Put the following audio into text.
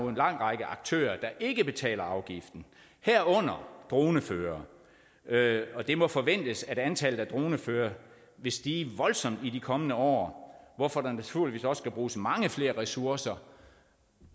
en lang række aktører der ikke betaler afgiften herunder droneførere det må forventes at antallet af droneførere vil stige voldsomt i de kommende år hvorfor der naturligvis også skal bruges mange flere ressourcer